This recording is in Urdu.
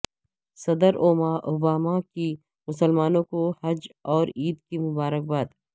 صدر اوباما کی مسلمانوں کو حج اور عید کی مبارک باد